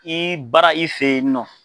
I baara i fɛ yen nɔ